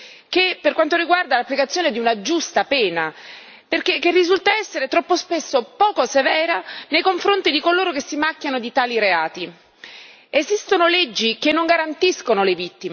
continuano a persistere delle problematiche sia nell'applicazione delle leggi che per quanto riguarda l'applicazione di una giusta pena, che risulta essere troppo spesso poco severa nei confronti di coloro che si